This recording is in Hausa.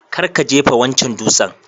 Kar ka jefa wancan dutsen